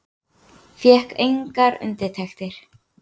Fékk engar undirtektir.